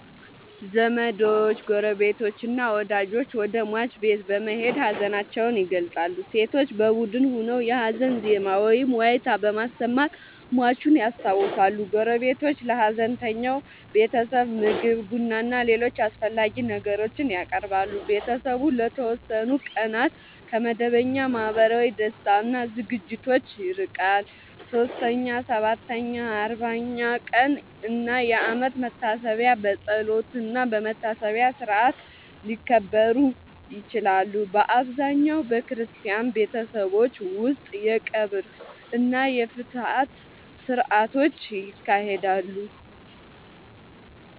ዘመዶች፣ ጎረቤቶችና ወዳጆች ወደ ሟች ቤት በመሄድ ሀዘናቸውን ይገልጻሉ። ሴቶች በቡድን ሆነው የሀዘን ዜማ ወይም ዋይታ በማሰማት ሟቹን ያስታውሳሉ። ጎረቤቶች ለሀዘንተኛው ቤተሰብ ምግብ፣ ቡናና ሌሎች አስፈላጊ ነገሮችን ያቀርባሉ። ቤተሰቡ ለተወሰኑ ቀናት ከመደበኛ ማህበራዊ ደስታ እና ዝግጅቶች ይርቃል። 3ኛ፣ 7ኛ፣ 40ኛ ቀን እና የአመት መታሰቢያ በጸሎትና በመታሰቢያ ሥርዓት ሊከበሩ ይችላሉ። በአብዛኛው በክርስቲያን ቤተሰቦች ውስጥ የቀብር እና የፍትሐት ሥርዓቶች ይካሄዳሉ።